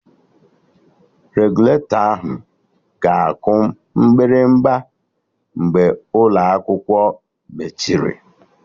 Regụlatọ ahụ ga-aku mgbịrịgba mgbe ụlọ akwụkwọ mechiri